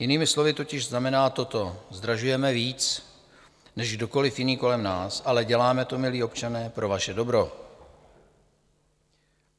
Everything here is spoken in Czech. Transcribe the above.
Jinými slovy totiž znamená toto: Zdražujeme víc než kdokoliv jiný kolem nás, ale děláme to, milí občané, pro vaše dobro.